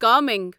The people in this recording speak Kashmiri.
کامنگ